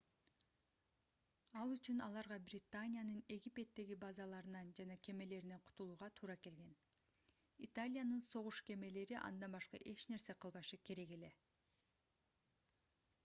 ал үчүн аларга британиянын египеттеги базаларынан жана кемелеринен кутулууга туура келген италиянын согуш кемелери андан башка эч нерсе кылбашы керек эле